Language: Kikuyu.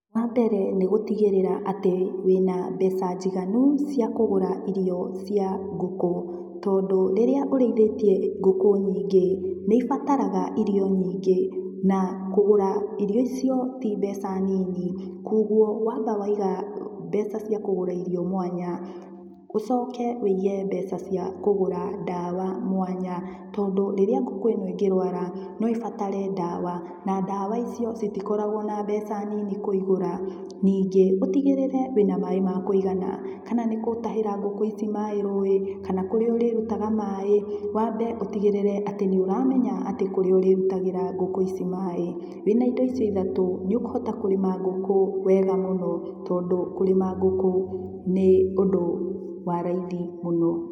Wa mbere nĩ gũtigĩrĩra atĩ wĩna mbeca njiganu cia kũgũra irio cia ngũkũ, tondũ rĩrĩa ũrĩithĩtie ngũkũ nyingĩ, nĩ ibataraga irio nyingĩ, na kũgũra irio icio, ti mbeca nini, koguo wamba waiga mbeca cia kũgũra irio mwanya, ũcoke ũige mbeca cia kũgũra dawa mwanya, tondũ rĩrĩa ngũkũ ĩno ĩngĩrwara, no ĩbatare dawa, na dawa icio, citikoragwo na mbeca nini kũigũra. Ningĩ ũtigĩrĩre wĩna maĩ ma kũigana, kana nĩ gũtahĩra ngũkũ ici maĩ rũi, kana kũrĩa ũrĩrutaga maĩ, wambe ũtigĩrĩre atĩ nĩ ũramenya atĩ kũrĩa ũrĩrutagĩra ngũkũ ici maĩ. Wĩna indo icio ithatũ, nĩ ũkũhota kũrĩma ngũkũ wega mũno, tondũ kũrĩma ngũkũ nĩ ũndũ wa raithi mũno.